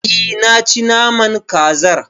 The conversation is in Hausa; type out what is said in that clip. E, naci naman kazar.